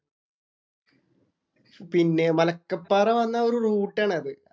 പിന്നെ മലക്കപ്പാറ വന്നാ ഒരു റൂട്ട് ആണത്.